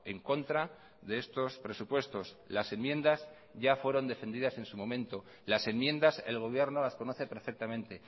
en contra de estos presupuestos las enmiendas ya fueron defendidas en su momento las enmiendas el gobierno las conoce perfectamente